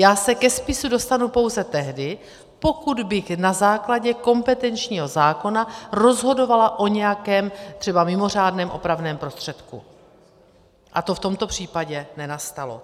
Já se ke spisu dostanu pouze tehdy, pokud bych na základě kompetenčního zákona rozhodovala o nějakém třeba mimořádném opravném prostředku, a to v tomto případě nenastalo.